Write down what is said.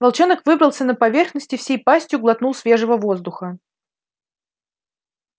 волчонок выбрался на поверхность и всей пастью глотнул свежего воздуха